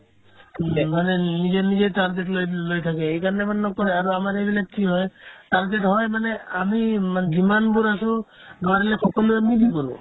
মানে নিজেৰ নিজেৰ লৈ থাকে সেইকাৰণে মানে নকৰে আৰু আমাৰ এইবিলাক কি হয় complete হয় মানে আমি মানে যিমানবোৰ আছো নোৱাৰিলে সকলোৱে মিলি কৰে